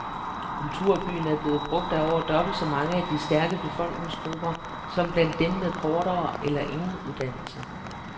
Kulturbyen er blevet brugt af over dobbelt så mange i de stærke befolkningsgrupper som blandt dem med kortere eller ingen uddannelse.